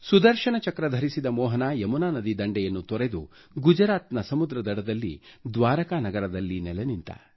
ಸುದರ್ಶನ ಚಕ್ರ ಧರಿಸಿದ ಮೋಹನ ಯಮುನಾ ನದಿ ದಂಡೆಯನ್ನು ತೊರೆದು ಗುಜರಾತ್ನ ಸಮುದ್ರ ದಡದಲ್ಲಿ ದ್ವಾರಕಾ ನಗರದಲ್ಲಿ ನೆಲೆ ನಿಂತ